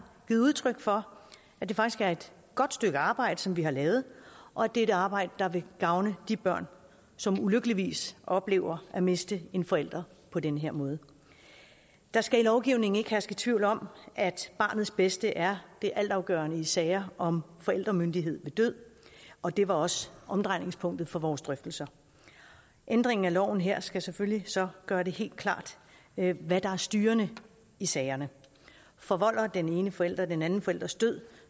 givet udtryk for at det faktisk er et godt stykke arbejde som vi har lavet og at det er et arbejde der vil gavne de børn som ulykkeligvis oplever at miste en forælder på den her måde der skal i lovgivningen ikke herske tvivl om at barnets bedste er det altafgørende i sager om forældremyndighed ved død og det var også omdrejningspunktet for vores drøftelser ændringen af loven her skal selvfølgelig så gøre det helt klart hvad der er styrende i sagerne forvolder den ene forælder den anden forælders død